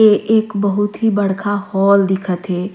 ये एक बहुत ही बड़का हॉल दिखा थे।